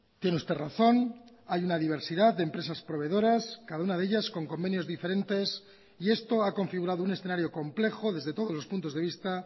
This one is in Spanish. tiene usted razón hay una diversidad de empresas proveedoras cada una de ellas con convenios diferentes y esto ha configurado un escenario complejo desde todos los puntos de vista